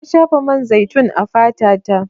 Na shafa man zaitun a fata ta.